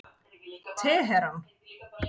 Teheran